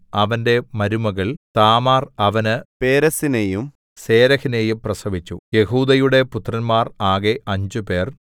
അവന്റെ മരുമകൾ താമാർ അവന് പേരെസ്സിനെയും സേരെഹിനെയും പ്രസവിച്ചു യെഹൂദയുടെ പുത്രന്മാർ ആകെ അഞ്ചുപേർ